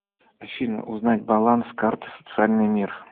афина узнать баланс карты социальная мир